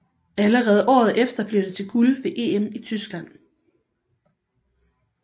Allerede året efter blev det til guld ved EM i Tyskland